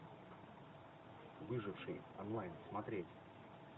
выживший онлайн смотреть